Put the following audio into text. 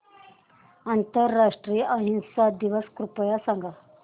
आंतरराष्ट्रीय अहिंसा दिवस कृपया सांगा